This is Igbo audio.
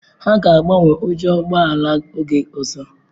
Ha ga agbanwe ujo ụgbọ ala oge ọzọ.